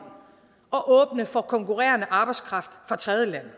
at åbne for konkurrerende arbejdskraft fra tredjelande